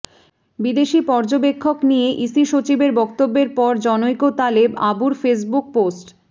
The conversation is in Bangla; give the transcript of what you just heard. বিদেশী পর্যবেক্ষক নিয়ে ইসি সচিবের বক্তব্যের পর জনৈক তালেব আবুর ফেসবুক পোস্ট